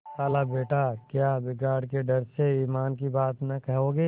खालाबेटा क्या बिगाड़ के डर से ईमान की बात न कहोगे